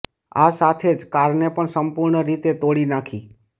આ સાથે જ કારને પણ સંપૂર્ણ રીતે તોડી નાખી